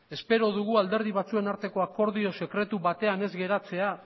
espero dugu alderdi batzuen arteko akordio sekretu batean ez geratzea